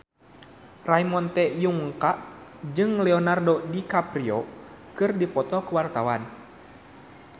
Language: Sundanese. Ramon T. Yungka jeung Leonardo DiCaprio keur dipoto ku wartawan